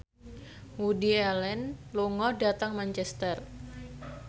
Woody Allen lunga dhateng Manchester